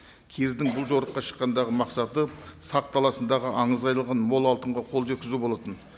кирдің бұл жорыққа шыққандағы мақсаты сақ даласындағы аңызға айналған мол алтынға қол жеткізу болатын